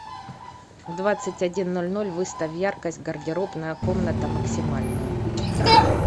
в двадцать один ноль ноль выставь яркость гардеробная комната максимальную